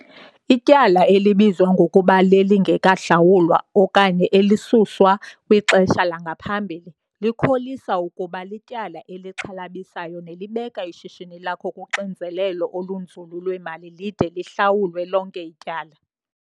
Ityala elibizwa ngokuba lelingekahlawulwa okanye elisuswa kwixesha langaphambili likholisa ukuba lityala elixhalabisayo nelibeka ishishini lakho kuxinzelelo olunzulu lwemali lide lihlawulwe lonke ityala.